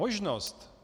Možnost!